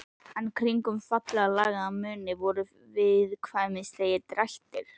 En kringum fallega lagaðan munninn voru viðkvæmnislegir drættir.